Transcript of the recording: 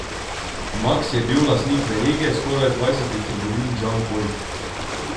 Maks je bil lastnik verige skoraj dvajsetih trgovin Džan hoj.